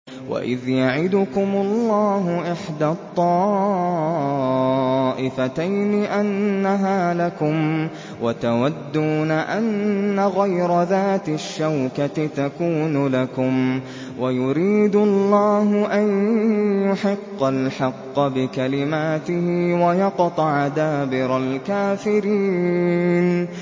وَإِذْ يَعِدُكُمُ اللَّهُ إِحْدَى الطَّائِفَتَيْنِ أَنَّهَا لَكُمْ وَتَوَدُّونَ أَنَّ غَيْرَ ذَاتِ الشَّوْكَةِ تَكُونُ لَكُمْ وَيُرِيدُ اللَّهُ أَن يُحِقَّ الْحَقَّ بِكَلِمَاتِهِ وَيَقْطَعَ دَابِرَ الْكَافِرِينَ